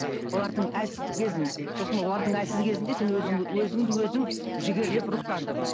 олардың әлсіздік кезін сосын олардың әлсіз кезінде сен өзің өзіңді өзің жігерлеп рухтандың